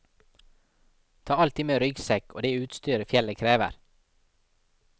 Ta alltid med ryggsekk og det utstyr fjellet krever.